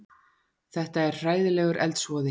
Þetta er hræðilegur eldsvoði